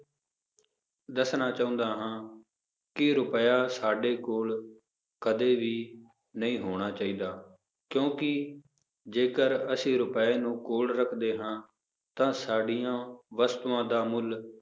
ਦੱਸਣਾ ਚਾਹੁੰਦਾ ਹਾਂ ਕਿ ਰੁਪਇਆ ਸਾਡੇ ਕੋਲ ਕਦੇ ਵੀ ਨਹੀਂ ਹੋਣਾ ਚਾਹੀਦਾ ਕਿਉਂਕਿ ਜੇਕਰ ਅਸੀਂ ਰੁਪਏ ਨੂੰ ਕੋਲ ਰੱਖਦੇ ਹਾਂ ਤਾਂ ਸਾਡੀਆਂ ਵਸਤੂਆਂ ਦਾ ਮੁੱਲ